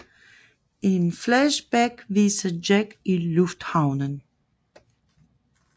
Et flashback viser Jack i lufthavnen